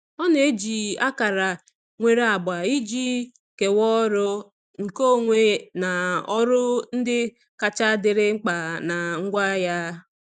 Ọ na-eji akara nwere agba iji kewaa ọrụ, nke onwe na ọrụ ndị kacha dịrị mkpa na ngwa ya.